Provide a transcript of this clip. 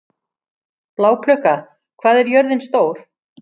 Bláklukka, hvað er jörðin stór?